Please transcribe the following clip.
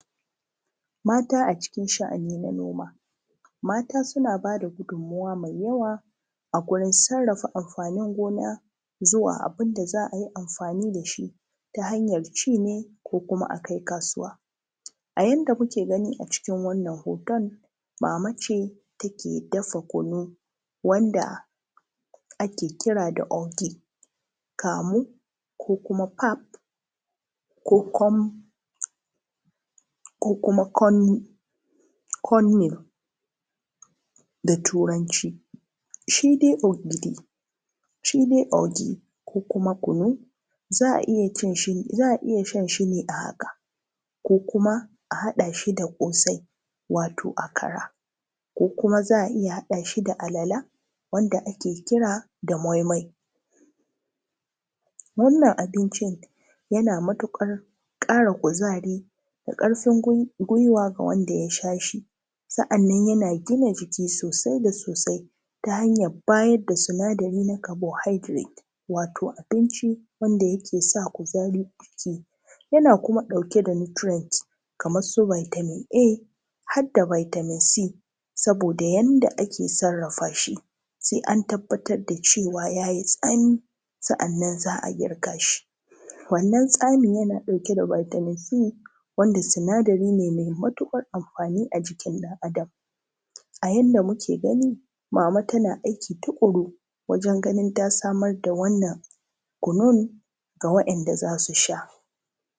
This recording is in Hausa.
Mata a cikin sha’ani na noma mata suna ba da gudummuwa mai yawa a gurin sarrafa amfanin gona zuwa abin da za a yi amfani da shi ta hanyar ci ne ko kuma a kai kasuwa. A janda kuke gani a cikin wannan hoton mama ce take dafa kunu wanda ake kira da ogi kamu ko kuma pap ko kuma corn meal. Shi dai ogi ko kuma kunu za a iya sha shi ne a haka ko kuma a haɗa shi da ƙosai wato akara ko kuma za a iya haɗa shi da alala wanda ake kira da moi moi. Wannan abincin yana matuƙar ƙara kuzari da ƙarfin gwiwa ga wanda ya sha shi sannan yana gina jiki sosai da sosai ta hanyar bajin sinadari na carbohydrate wato abinci wanda yake sa kuzari. Yana kuma ɗauke da nutrients kamar su vitamin A har da vitamin C saboda yadda ake sarrafa shi sai an tabbatar da cewa ya ji tsami sannan za a girka shi. Wannan tsamin yana ɗauke da vitamin C wanda sinadari ne mai matuƙar amfani a jikin ɗan Adam. A janda muke gani mama tana aiki tukuru wajen ganin ta samar da wannan kunun ga waɗanda za su sha.